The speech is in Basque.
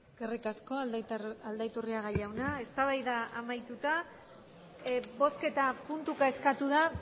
eskerrik asko aldaiturriaga jauna eztabaida amaituta bozketa puntuka eskatu da